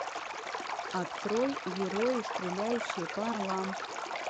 открой герои стреляющие по орлам